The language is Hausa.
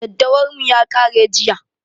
Daddawar mu ya ƙare jiya